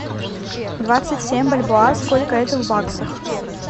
двадцать семь бальбоа сколько это в баксах